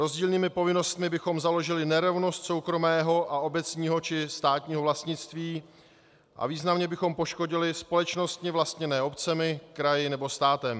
Rozdílnými povinnostmi bychom založili nerovnost soukromého a obecního či státního vlastnictví a významně bychom poškodili společnosti vlastněné obcemi, kraji nebo státem.